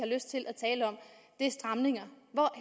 lyst til at tale om er stramninger